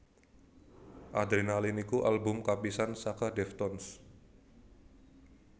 Adrenaline iku album kapisan saka Deftones